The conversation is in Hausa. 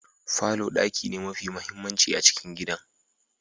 Falor daki ne mafi mahimmanci a cikin gidan.